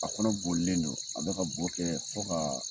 A kɔnɔ bolilen don, a bɛ ka bo kɛ fo ka